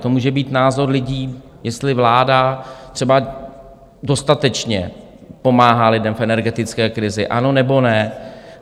To může být názor lidí, jestli vláda třeba dostatečně pomáhá lidem v energetické krizi, ano nebo ne.